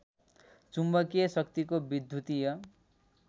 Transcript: चुम्बकीय शक्तिको विद्युतीय